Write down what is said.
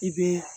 I bɛ